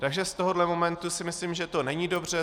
Takže z tohoto momentu si myslím, že to není dobře.